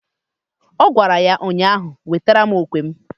Ọ gwara ya ụnyaahụ "Wetara mụ okwe m"!